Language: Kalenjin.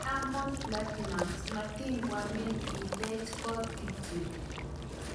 Diamond Platnumz:matikwamin itech kot kityo